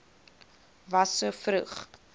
fas so vroeg